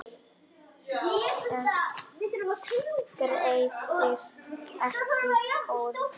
Þess gerðist ekki þörf.